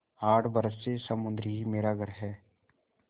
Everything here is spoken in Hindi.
आठ बरस से समुद्र ही मेरा घर है